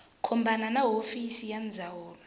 khumbana na hofisi ya ndzawulo